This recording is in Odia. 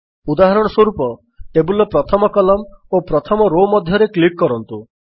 ଉଦାହରଣସ୍ୱରୂପ ଟେବଲ୍ ର ପ୍ରଥମ କଲମ୍ନ ଓ ପ୍ରଥମ ରୋ ମଧ୍ୟରେ କ୍ଲିକ୍ କରନ୍ତୁ